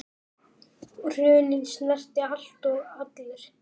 Hrunið snerti allt og alla.